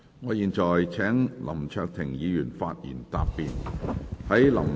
我現在請林卓廷議員發言答辯。